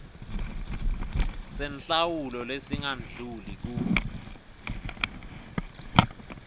senhlawulo lesingadluli kur